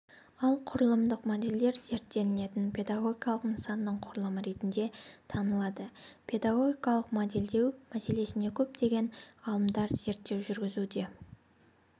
ал құрылымдық модельдер зерттелінетін педагогикалық нысанның құрылымы ретінде танылады педагогикалық модельдеу мәселесіне көптеген ғалымдар зерттеу жүргізуде